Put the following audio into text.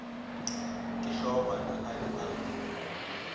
ke hlogwana a be a